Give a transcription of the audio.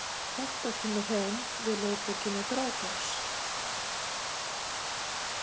Þetta kemur heim við lögbókina Grágás.